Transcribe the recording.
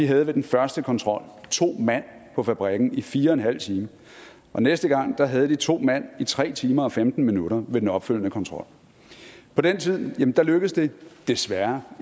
havde ved første kontrol to mand på fabrikken i fire en halv time og næste gang havde de to mand på i tre timer og femten minutter ved den opfølgende kontrol på den tid lykkedes det desværre